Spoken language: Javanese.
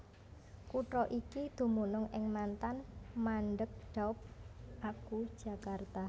Kutha iki dumunung ing mantan mandeg Daop aku Jakarta